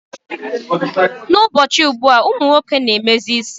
N'ụbọchị ugbua, ụmụ nwoke na-emezi isi.